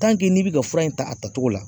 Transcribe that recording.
n'i bi ka fura in ta a tatogo la